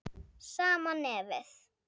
Sama nefið.